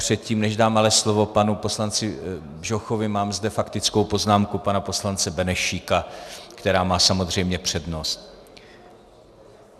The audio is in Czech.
Předtím než dám ale slovo panu poslanci Bžochovi, mám zde faktickou poznámku pana poslance Benešíka, která má samozřejmě přednost.